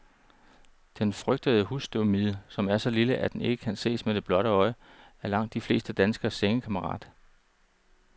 Den frygtede husstøvmide, som er så lille, at den ikke kan ses med det blotte øje, er langt de fleste danskeres sengekammerat.